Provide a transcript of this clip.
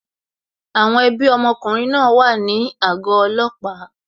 Àwọn ẹbí ọmọkùnrin náà wà ní àgọ́ ọlọ́pàá